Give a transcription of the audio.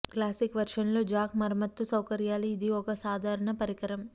classic version లో jack మరమ్మతు సౌకర్యాలు ఇది ఒక సాధారణ పరికరం